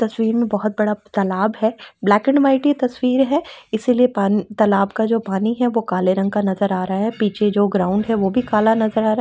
तस्वीर में बहुत बड़ा तालाब है। ब्लैक एंड वाइट ये तस्वीर है इसलिए पान तालाब का जो पानी है वो काले रंग का नजर आ रहा है। पीछे जो ग्राउंड है वो भी काला नजर आ रहा है।